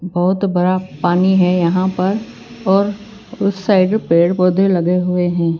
बहुत बड़ा पानी है यहां परऔर उस साइड भि पेड़-पौधे लगे हुए हैं।